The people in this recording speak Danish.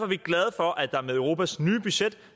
vi glade for at der med europas nye budget